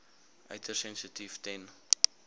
uiters sensitief ten